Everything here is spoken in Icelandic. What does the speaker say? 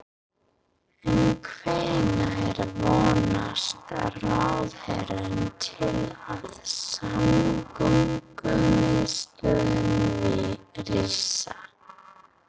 En hvenær vonast ráðherrann til að samgöngumiðstöðin rísi?